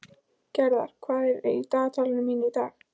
Gerðar, hvað er í dagatalinu mínu í dag?